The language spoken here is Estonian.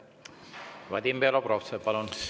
Vadim Belobrovtsev, palun!